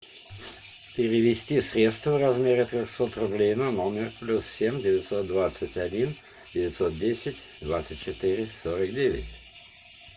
перевести средства в размере трехсот рублей на номер плюс семь девятьсот двадцать один девятьсот десять двадцать четыре сорок девять